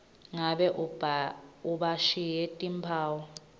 nangabe bashiye timphawu